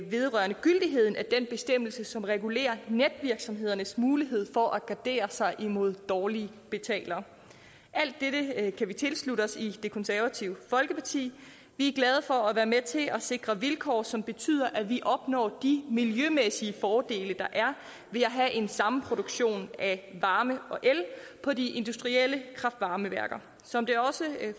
vedrørende gyldigheden af den bestemmelse som regulerer netvirksomhedernes mulighed for at gardere sig imod dårlige betalere alt dette kan vi tilslutte os i det konservative folkeparti vi er glade for at være med til at sikre vilkår som betyder at vi opnår de miljømæssige fordele der er ved at have en samproduktion af varme og el på de industrielle kraft varme værker som det også